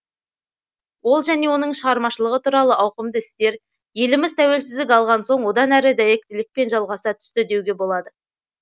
ол және оның шығармашылығы туралы ауқымды істер еліміз тәуелсіздік алған соң одан әрі дәйектілікпен жалғаса түсті деуге болады